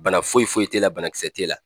Bana foyi foyi te la banakisɛ te la